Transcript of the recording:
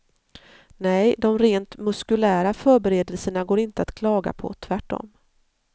Nej, de rent muskulära förberedelserna går inte att klaga på, tvärtom.